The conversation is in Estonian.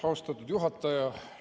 Austatud juhataja!